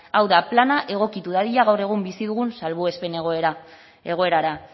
hau da plana egokitu dadila gaur egun bizi dugun salbuespen egoerara